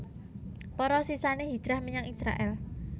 Para sisané hijrah menyang Israèl